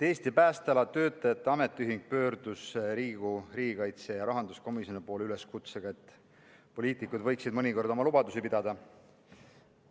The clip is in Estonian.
Eesti Päästeala Töötajate Ametiühing pöördus Riigikogu riigikaitsekomisjoni ja rahanduskomisjoni poole üleskutsega, et poliitikud võiksid mõnikord oma lubadusi pidada.